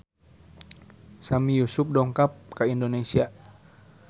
Sami Yusuf dongkap ka Indonesia